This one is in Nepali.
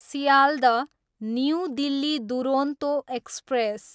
Sealdah, new Delhi Duronto express